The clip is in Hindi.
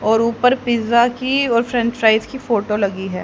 और ऊपर पिज़्ज़ा की और फ्रेंच फ्राइज की फोटो लगी है।